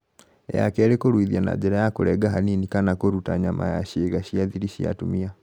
Ya kerì; kũruithia na njĩra ya kũrenga hanini kana kũruta nyama ya ciĩga cia thiri cia atumia